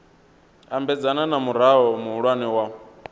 ambedzana na murao muhulwane wa